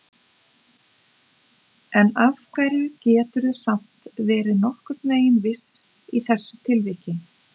En af hverju geturðu samt verið nokkurn veginn viss í þessu tilviki?